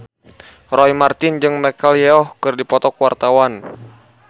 Roy Marten jeung Michelle Yeoh keur dipoto ku wartawan